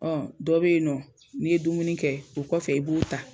dɔ bɛ yen nɔ n'i ye dumuni kɛ o kɔfɛ i b'u ta.